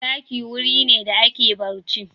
Ɗaki wuri ne da ake barci.